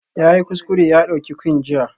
Yayi kuskure ya ɗauki Quinn jiya